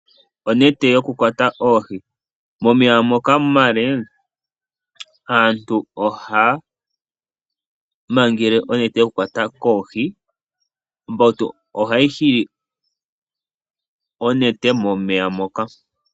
Onete yokukwata oohi momeya moka omale aantu ohaa mangele onete yokukwata oohi kombautu ombautu ohayi hili onete momeya moka.